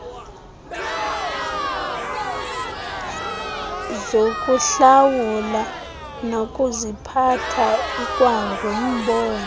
zokuhlawula nokuziphatha ikwangumbono